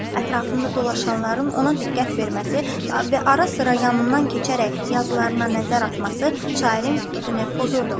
Ətrafında dolaşanların ona diqqət verməsi və arasıra yanından keçərək yazılarına nəzər atması şairin fikrini pozurdu.